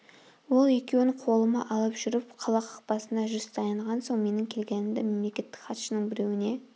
ол екеуін қолыма алып жүріп қала қақпасына жүз таянған соң менің келгенімді мемлекеттік хатшының біреуіне